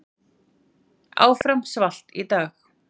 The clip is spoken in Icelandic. Áfram svalt í dag